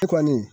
E kɔni